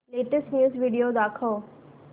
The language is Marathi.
लेटेस्ट न्यूज व्हिडिओ दाखव